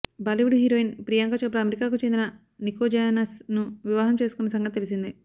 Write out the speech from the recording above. Bollywood heroine Priyanka Chopra అమెరికాకు చెందిన Nick Jonas ను వివాహం చేసుకున్న సంగతి తెలిసిందే